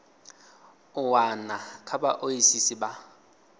u wana kha vhaoisisi vha